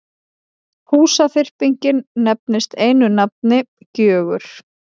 Húsaþyrpingin nefnist einu nafni Gjögur.